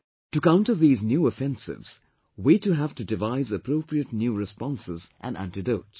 To counter these new offensives, we too have to devise appropriate new responses and antidotes